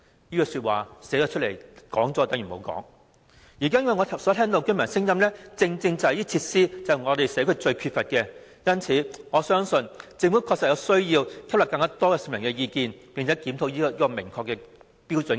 根據居民的意見，社區正是最缺乏這些設施。因此，我相信政府確實有需要吸納更多市民的意見，並且檢討《規劃標準》。